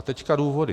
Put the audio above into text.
A teď důvody.